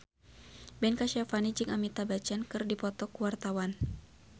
Ben Kasyafani jeung Amitabh Bachchan keur dipoto ku wartawan